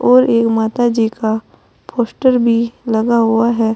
और एक माता जी का पोस्टर भी लगा हुआ है।